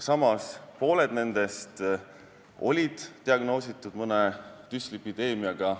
Samas, pooled nendest olid diagnoositud mõne düslipideemiaga.